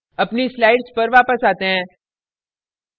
अपनी slides पर वापस आते हैं